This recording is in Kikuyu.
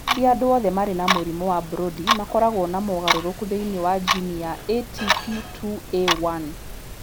Ti andũ othe marĩ na mũrimũ wa Brody makoragwo na mogarũrũku thĩinĩ wa jini ya ATP2A1.